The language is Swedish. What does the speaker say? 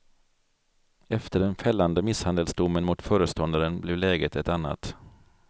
Efter den fällande misshandelsdomen mot föreståndaren blev läget ett annat.